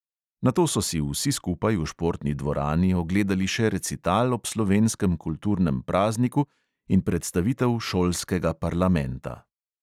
Nato so si vsi skupaj v športni dvorani ogledali še recital ob slovenskem kulturnem prazniku in predstavitev šolskega parlamenta.